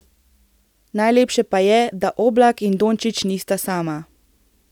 Najlepše pa je, da Oblak in Dončić nista sama.